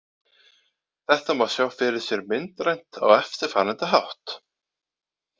Þetta má sjá fyrir sér myndrænt á eftirfarandi hátt: